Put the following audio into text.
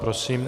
Prosím.